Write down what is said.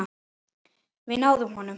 Við náðum honum.